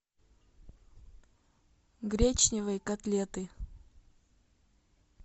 гречневые котлеты